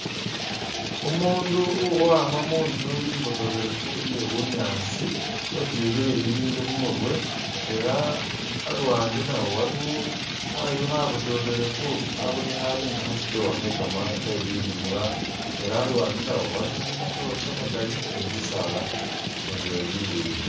Umundu ukhowama mu'nzu i'mbotokhelefu iye bunyaasi wetyukhile bibindu khumurwe ela aluwande nawo waliwo khayu khabotokhelefu kabonekhane nga khasitoowa khakama khebilimwa ela aluwande nawo iliwo kamatoore kamakali ni bisaala nabyo bileyi